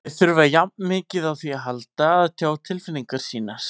Þeir þurfa jafn mikið á því að halda að tjá tilfinningar sínar.